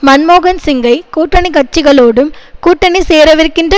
மன்மோகன் சிங்கை கூட்டணி கட்சிகளோடும் கூட்டணி சேரவிருக்கின்ற